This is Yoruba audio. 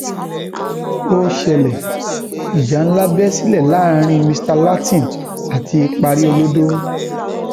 ó ṣẹlẹ ìjà ńlá bẹ sílẹ láàrin mr látìn àti paríolọdọ